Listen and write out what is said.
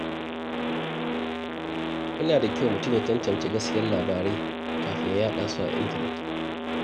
Yana da kyau mutum ya tantance gaskiyar labarai kafin ya yada su a intanet.